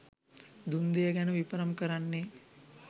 දුන් දෙය ගැන විපරම් කරන්නේ